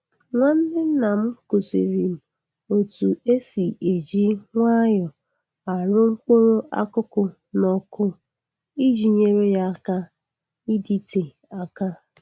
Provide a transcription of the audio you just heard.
Nwanne nna m kụziri m otu e si e ji nwayọ arụ mkpụrụ akụkụ n'ọkụ iji nyere ya aka ịdịte aka.